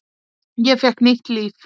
Ég fékk nýtt líf.